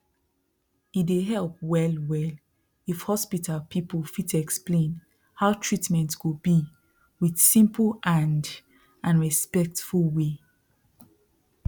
e dey help wellwell if hospital people fit explain how treatment go be with simple and and respectful way